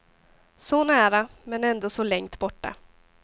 Så nära, men ändå så längt borta.